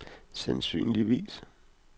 sandsynligvis